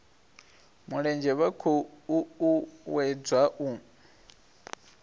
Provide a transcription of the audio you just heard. mulenzhe vha khou uuwedzwa u